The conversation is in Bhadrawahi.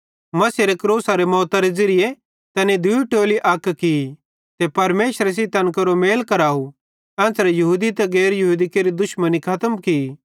मसीहेरे क्रूसेरी मौतरे ज़िरिये तैनी दूई टोली अक की ते परमेशरे सेइं तैन केरो मेल कराव एन्च़रे यहूदी ते गैर यहूदी केरि दुश्मनी खतम की